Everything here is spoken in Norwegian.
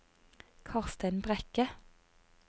Karstein Brekke